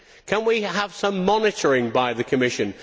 Can we have some monitoring by the Commission?